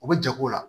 U bɛ jago la